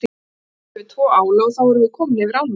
Síðan fórum við yfir tvo ála og þá vorum við komin yfir ána.